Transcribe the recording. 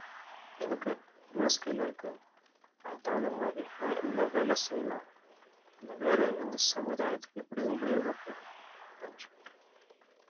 எனக்கு என்ன skill ல இருக்கு அதுக்கு தகுந்தமாதிரி நான் என்ன வேலை செய்யலாம் அந்த வேலையில இருந்து சமுதாயத்துக்கு எப்படி உபயோகப்படும் அப்படின்னு சொல்லிட்டு